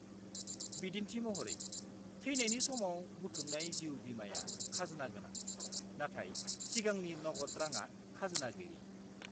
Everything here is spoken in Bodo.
-बिदिन्थि महरै, थैनायनि समाव बुथुमनाय जिउ बीमाआ खाजोना गोनां, नाथाय सिगांनि नगद रांआ खाजोना गैयि।